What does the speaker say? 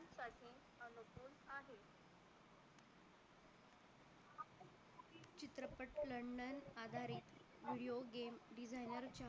london आधारित video game designer च्या